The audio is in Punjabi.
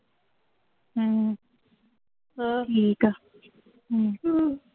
ਹਮ ਠੀਕ ਆ ਹਮ